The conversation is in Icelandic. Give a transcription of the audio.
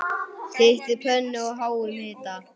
Hitið pönnu á háum hita.